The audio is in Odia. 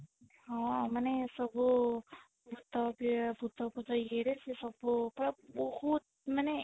ହଁ ମାନେ ସବୁ ଭୁତ ଭୁତ ଇଏ ରେ ସେ ସବୁ ପୁରା ବହୁତ ମାନେ